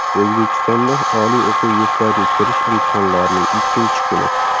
O‘zbekistonda oliy o‘quv yurtlariga kirish imtihonlarining ikkinchi kuni.